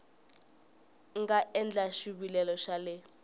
nga endla xivilelo xa le